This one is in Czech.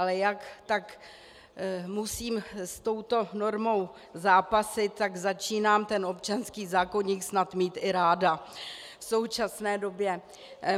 Ale jak tak musím s touto normou zápasit, tak začínám ten občanský zákoník snad mít i ráda v současné době.